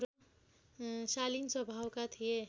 शालीन स्वभावका थिए